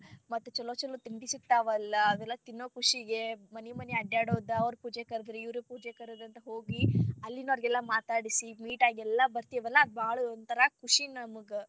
ಮತ್ತ ಚೊಲೋ ಚೊಲೋ ತಿಂಡಿ ಸಿಗ್ತಾವ ಅದೆಲ್ಲಾ ತಿನ್ನೋ ಖುಷಿಗೆ ಮನಿ ಮನಿ ಅಡ್ಯಡೋದ ಅವ್ರ ಪೂಜೆ ಕರದರ ಇವ್ರ ಪೂಜೆ ಕರದರ ಹೋಗಿ ಅಲ್ಲಿನೊರಗೆಲ್ಲಾ ಮಾತಾಡ್ಸಿ meet ಆಗಿ ಎಲ್ಲಾ ಬರ್ತೇವಲ್ಲಾ ಅದ ಬಾಳ ಒಂತರಾ ಖುಷಿ ನಮ್ಗ.